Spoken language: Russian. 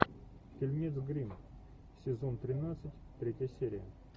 фильмец гримм сезон тринадцать третья серия